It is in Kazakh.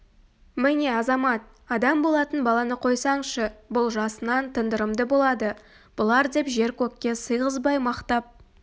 міне азамат адам болатын баланы қойсаңшы бұл жасынан тындырымды болады бұлар деп жер-көкке сыйғызбай мақтап